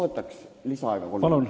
Palun lisaaega kolm minutit!